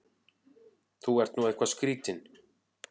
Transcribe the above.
Þú ert nú eitthvað skrýtinn!